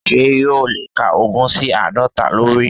Sé yóò o lè kà ogún sí àádọ́ta lórí?